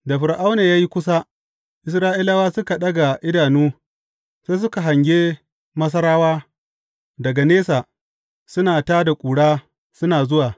Da Fir’auna ya yi kusa, Isra’ilawa suka ɗaga idanu sai suka hange Masarawa daga nesa suna tā da ƙura suna zuwa.